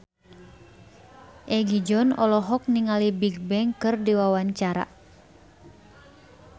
Egi John olohok ningali Bigbang keur diwawancara